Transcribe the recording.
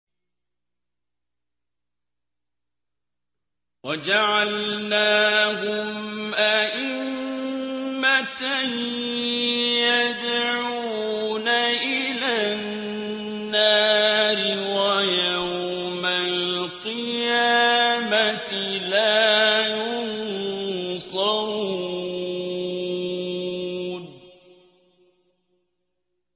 وَجَعَلْنَاهُمْ أَئِمَّةً يَدْعُونَ إِلَى النَّارِ ۖ وَيَوْمَ الْقِيَامَةِ لَا يُنصَرُونَ